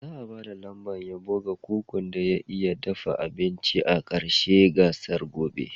Za'a ba da lambar yabo ga kukun da ya iya dafa abinci a ƙarshen gasar gobe.